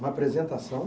Uma apresentação?